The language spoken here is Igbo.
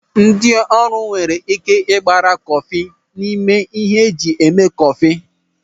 Ndị ọrụ nwere ị́ké ịgbara kọfị n'ime ihe eji eme kọfị.